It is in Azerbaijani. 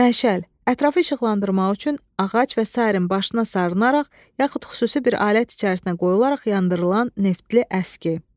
Məşəl, ətrafı işıqlandırmaq üçün ağac və sair başın sarılaraq, yaxud xüsusi bir alət içərisinə qoyularaq yandırılan neftli əski.